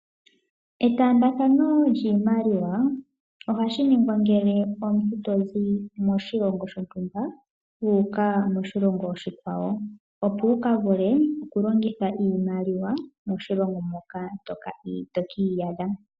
Etambathano lyiimaliwa oha shi ningwa ngele omuntu to zi moshilongo shotumba wuka moshilongo oshikwawo, opo wu ka vule oku ka longitha iimaliwa moshilongo moka to kiiyadha